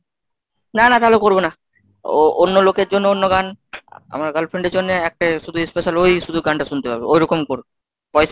না না তাহলে করবো না। ও অন্য লোকের জন্য অন্য গান, আমার girlfriend এর জন্য একটা শুধু special ওই শুধু গানটা শুনতে পাবে ওইরকম করো। পয়সা